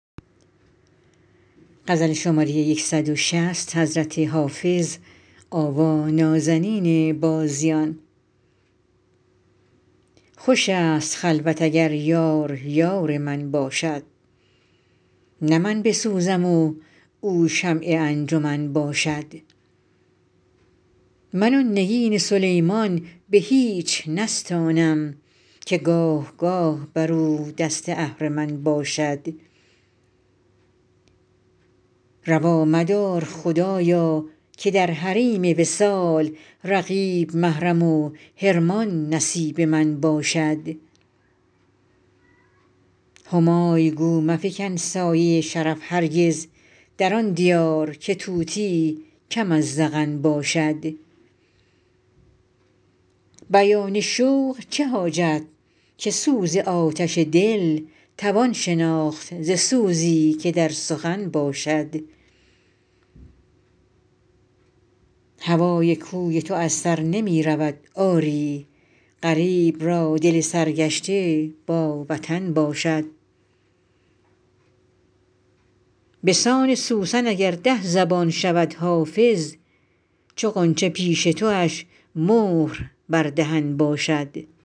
خوش است خلوت اگر یار یار من باشد نه من بسوزم و او شمع انجمن باشد من آن نگین سلیمان به هیچ نستانم که گاه گاه بر او دست اهرمن باشد روا مدار خدایا که در حریم وصال رقیب محرم و حرمان نصیب من باشد همای گو مفکن سایه شرف هرگز در آن دیار که طوطی کم از زغن باشد بیان شوق چه حاجت که سوز آتش دل توان شناخت ز سوزی که در سخن باشد هوای کوی تو از سر نمی رود آری غریب را دل سرگشته با وطن باشد به سان سوسن اگر ده زبان شود حافظ چو غنچه پیش تواش مهر بر دهن باشد